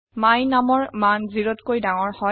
my numৰ মান 0 টকৈ ডাঙৰ হয়